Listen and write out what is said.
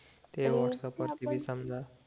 ते व्हाट्सअप वरती बी समजा